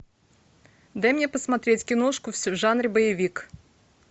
дай мне посмотреть киношку в жанре боевик